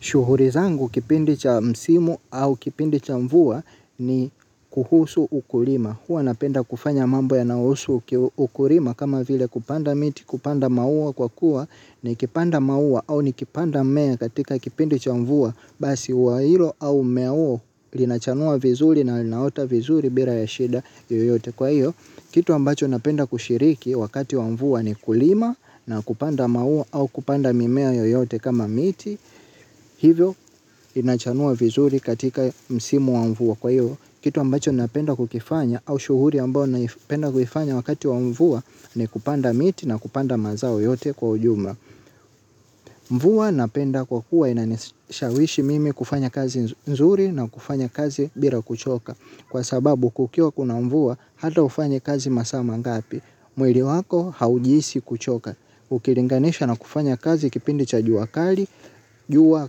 Shughuli zangu kipindi cha msimu au kipindi cha mvua ni kuhusu ukulima. Huwa napenda kufanya mambo yanayohusu ukulima kama vile kupanda miti, kupanda maua kwa kuwa nikipanda maua au nikipanda mmea katika kipindi cha mvua. Basi wa hilo au mmea huo linachanua vizuri na linaota vizuri bila ya shida yoyote kwa hiyo. Kitu ambacho napenda kushiriki wakati wa mvua ni kulima na kupanda maua au kupanda mimea yoyote kama miti. Hivyo inachanua vizuri katika msimu wa mvua kwa hiyo. Kitu ambacho napenda kukifanya au shughuli ambao naipenda kuifanya wakati wa mvua. Ni kupanda miti na kupanda mazao yote kwa ujumla. Mvua napenda kwa kuwa inanishawishi mimi kufanya kazi nzuri na kufanya kazi bila kuchoka. Kwa sababu kukiwa kuna mvua hata ufanya kazi masaa mangapi. Mwili wako haujihisi kuchoka. Ukilinganisha na kufanya kazi kipindi cha jua kali. Jua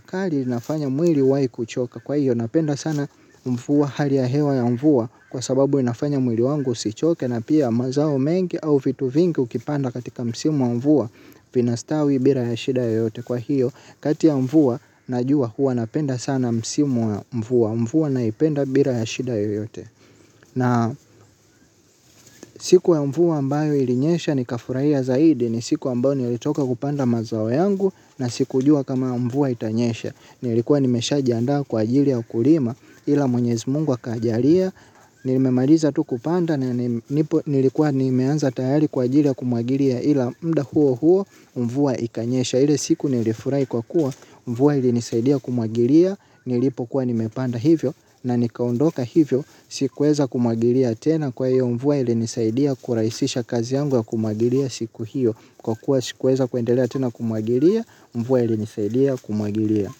kali linafanya mwili uwaikuchoka kwa hiyo napenda sana mvua hali ya hewa ya mvua. Kwa sababu inafanya mwili wangu usichoke na pia mazao mengi au vitu vingi ukipanda katika msimu wa mvua vinastawi bila ya shida yoyote kwa hiyo kati ya mvua na jua huwa napenda sana msimu wa mvua. Mvua naipenda bila ya shida yoyote. Na siku ya mvua ambayo ilinyesha nikafurahia zaidi ni siku ambayo nilitoka kupanda mazao yangu. Na sikujua kama mvua itanyesha. Nilikuwa nimeshajianda kwa ajili ya ukulima. Ila mwenyezi mungu akajalia. Nimemaliza tu kupanda. Na nipo nilikuwa nimeanza tayari kwa ajili ya kumwagilia. Ila mda huo huo mvua ikanyesha. Ile siku nilifurai kwa kuwa mvua ilinisaidia kumwagilia. Nilipokuwa nimepanda hivyo na nikaondoka hivyo. Sikuweza kumwagilia tena kwa hiyo mvua ilinisaidia. Kurahisisha kazi yangu ya kumwagilia siku hiyo. Kwa kuwa sikuweza kuendelea tena kumwagilia mvua ilinisaidia kumwagilia.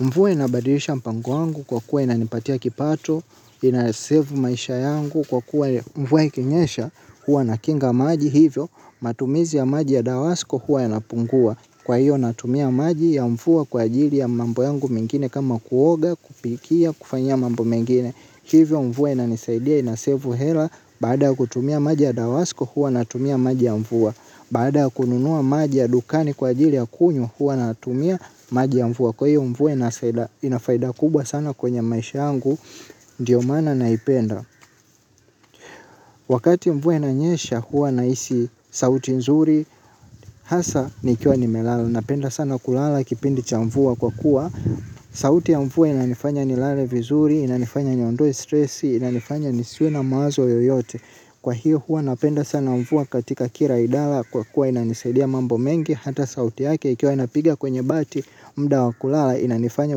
Mvua inabadilisha mpango wangu kwa kuwa inanipatia kipato. Ina save maisha yangu kwa kuwa mvua ikinyesha. Huwa nakinga maji hivyo matumizi ya maji ya dawasko huwa yanapungua. Kwa hiyo natumia maji ya mvua kwa ajili ya mambo yangu mengine kama kuoga kupikia kufanyia mambo mengine. Hivyo mvua inanisaidia inasevu hela. Baada ya kutumia maji ya dawasko huwa natumia maji ya mvua. Baada ya kununua maji ya dukani kwa ajili ya kunywa hua natumia maji ya mvua kwa hiyo mvua inasaida ina faida kubwa sana kwenye maisha yangu ndiyo maana naipenda. Wakati mvua inanyesha huwa nahisi sauti nzuri hasa nikiwa nimelala napenda sana kulala kipindi cha mvua kwa kuwa. Sauti ya mvua inanifanya nilale vizuri, inanifanya niondoe stresi, inanifanya nisiwe na mawazo yoyote. Kwa hiyo huwa napenda sana mvua katika kila idara kwa kuwa inanisaidia mambo mengi hata sauti yake ikiwa inapigia kwenye bati mda wa kulala inanifanya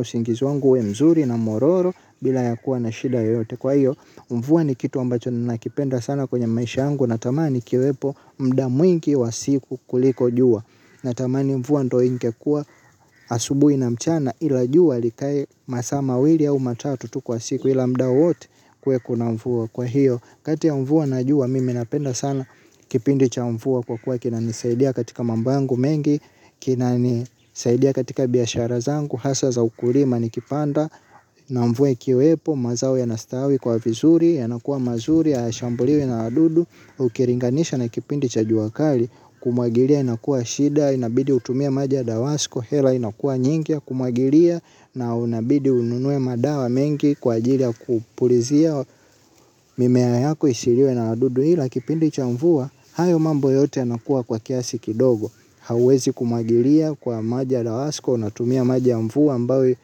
usingizi wangu uwe mzuri na mororo bila ya kuwa na shida yoyote. Kwa hiyo mvua ni kitu ambacho ninakipenda sana kwenye maisha yangu natamani ikiwepo mda mwingi wa siku kuliko jua. Natamani mvua ndio ingekuwa asubuhii na mchana ila jua likae masaa mawili au matatu tu kwa siku ila mda wowote kuwe kuna mvua kwa hiyo. Kati ya mvua na jua mimi napenda sana kipindi cha mvua kwa kuwa kinanisaidia katika mambo yangu mengi. Kinanisaidia katika biashara zangu hasa za ukulima nikipanda na mvua ikiwepo mazao yanastawi kuwa vizuri. Yanakuwa mazuri hayashambuliwi na wadudu ukilinganisha na kipindi cha jua kali kumwagilia inakuwa shida. Inabidi utumia maji ya dawasko. Hela inakuwa nyingi ya kumwagilia na unabidi ununue madawa mengi. Kwa ajili ya kupulizia mimea yako isiliwe na wadudu ila kipindi cha mvua. Hayo mambo yote yanakuwa kwa kiasi kidogo. Hauwezi kumwagilia kwa maji ya dawasko. Unatumia maji ya mvua ambayo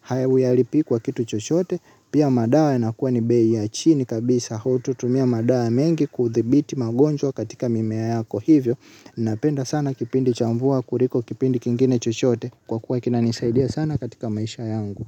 haya uyalipi kwa kitu chochote. Pia madawa inakuwa ni bei ya chini kabisa hutatumia madawa mengi kudhibiti magonjwa katika mimea yako hivyo napenda sana kipindi cha mvua kuliko kipindi kingine chochote kwa kuwa kinanisaidia sana katika maisha yangu.